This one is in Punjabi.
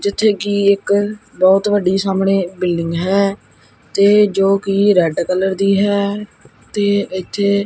ਜਿੱਥੇ ਕਿ ਇੱਕ ਬਹੁਤ ਵੱਡੀ ਸਾਹਮਣੇ ਬਿਲਡਿੰਗ ਹੈ ਤੇ ਜੋ ਕਿ ਰੈਡ ਕਲਰ ਦੀ ਹੈ ਤੇ ਇੱਥੇ--